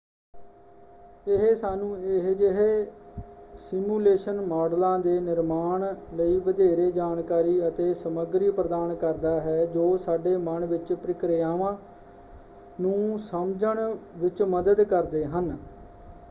ਇਹ ਸਾਨੂੰ ਅਜਿਹੇ ਸਿਮੂਲੇਸ਼ਨ ਮਾੱਡਲਾਂ ਦੇ ਨਿਰਮਾਣ ਲਈ ਵਧੇਰੇ ਜਾਣਕਾਰੀ ਅਤੇ ਸਮੱਗਰੀ ਪ੍ਰਦਾਨ ਕਰਦਾ ਹੈ ਜੋ ਸਾਡੇ ਮਨ ਵਿੱਚ ਪ੍ਰਕਿਰਿਆਵਾਂ ਨੂੰ ਸਮਝਣ ਵਿੱਚ ਮਦਦ ਕਰਦੇ ਹਨ।